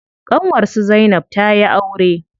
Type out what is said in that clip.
Ƙanwar su zainab tayi aure.